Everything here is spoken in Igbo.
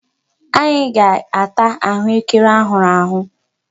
Anyị ga-ata ahụekere a hụrụ ahụ.